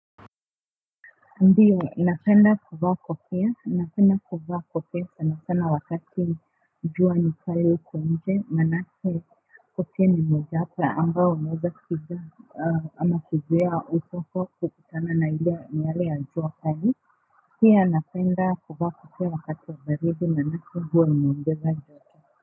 Ndiyo, ninaopenda kuwa kofia, ninapenda kuwa kofia sana sana wakati jua ni kali huku nje, maanake kofia ni moja hapa ambao moja kiza ama kuzuia uso kukutana na miale ya jua kali, pia napenda kuvaa kofia wakati wa baridi maanake huwa inaongeza wa joto.